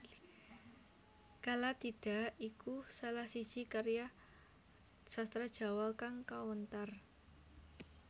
Kalatidha iku salah siji karya sastra Jawa kang kawentar